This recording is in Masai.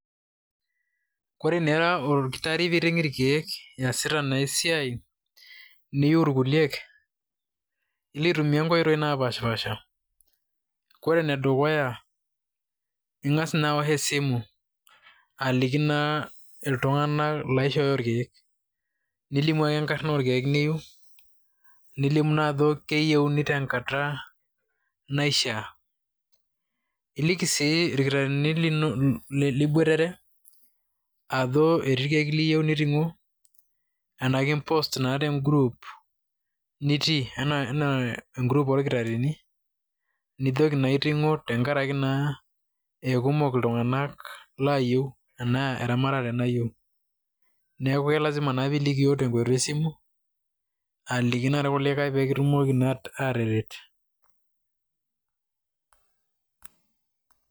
Ore naa ira olkitarri niting' irkeek iyasita na esiai, niu ilkuliek, ilo aitumia nkoitoi napashipasha. Kore enedukuya, ing'as naa awosh esimu aliki naa iltung'anak loishooyo irkeek. Nilimu ake enkarna orkeek niu, nilimu na ajo keyieuni tenkata naishaa. Iliki si irkitaarrini liboitare, ajo etii irkeek liyieu niting'o, enake ipost naa tegrup nitii. Enaa egrup orkitarrini, nijoki na itung'o tenkaraki naa ekumok iltung'anak layieu, enaa eramatare nayieu. Neeku lasima na nilikio tenkoitoi esimu, aliki na irkulikae pikitumoki na ataret.